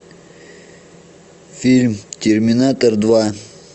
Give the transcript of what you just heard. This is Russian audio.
фильм терминатор два